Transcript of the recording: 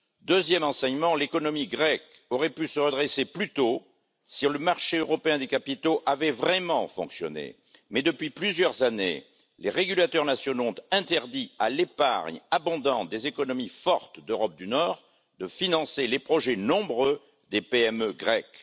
Deuxièmement, l'économie grecque aurait pu se redresser plus tôt si le marché européen des capitaux avait vraiment fonctionné, mais depuis plusieurs années, les régulateurs nationaux ont interdit à l'épargne abondante des économies fortes d'Europe du Nord de financer les projets nombreux des PME grecques.